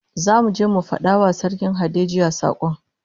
Zamu je mu fada wa Sarkin Hadejia sakon